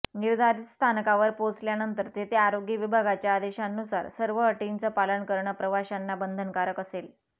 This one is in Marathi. निर्धारित स्थानकावर पोहोचल्यानंतर तेथे आरोग्य विभागाच्या आदेशांनुसार सर्व अटीचं पालन करणं प्रवाशांना बंधनकारक असेल